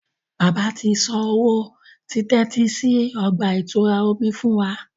Bàbà tí sàn òwò titẹsi sí ọgba-itura omí fún wà